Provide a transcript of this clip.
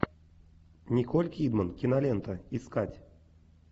николь кидман кинолента искать